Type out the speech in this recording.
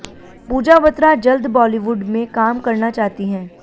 पूजा बत्रा जल्द बॉलीवुड में काम करना चाहती हैं